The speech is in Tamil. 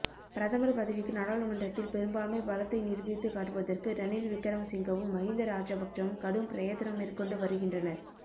பிரதமர் பதவிக்கு நாடாளுமன்றத்தில் பெரும்பான்மை பலத்தை நிரூபித்து காட்டுவதற்கு ரணில் விக்கிரமசிங்கவும் மஹிந்த ராஜபக்ஷவும் கடும் பிரயத்தனம் மேற்கொண்டு வருகின்றனர்